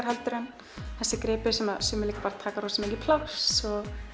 heldur en þessir gripir sem sem taka mikið pláss